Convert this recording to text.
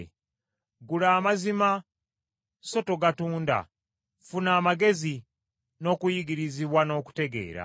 Gula amazima so togatunda, ffuna amagezi, n’okuyigirizibwa n’okutegeera.